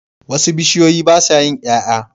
Wasu bishiyoyi basa yin yaya